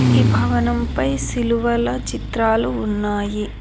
ఈ భవనం పై సిలువల చిత్రాలు ఉన్నాయి.